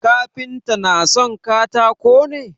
Kafinta na son katako ne?